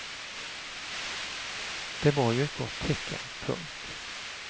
Det var ju ett gott tecken. punkt